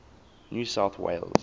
new south wales